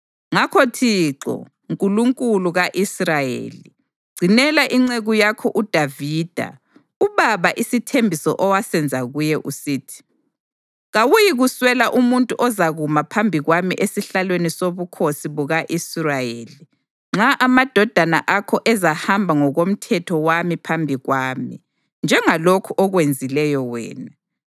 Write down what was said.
Ngakho Thixo, Nkulunkulu ka-Israyeli, gcinela inceku yakho uDavida ubaba isithembiso owasenza kuye usithi, ‘Kawuyikuswela umuntu ozakuma phambi kwami esihlalweni sobukhosi buka-Israyeli, nxa amadodana akho ezahamba ngokomthetho wami phambi kwami, njengalokhu okwenzileyo wena.’